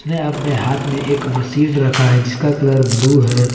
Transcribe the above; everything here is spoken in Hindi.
ने अपने हाथ में एक मशीन रखा है जिसका कलर ब्लू है।